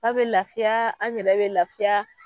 Aw bɛ lafiya an yɛrɛ bɛ lafiya